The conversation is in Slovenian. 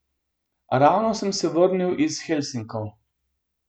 Ravno sem se vrnil iz Helsinkov.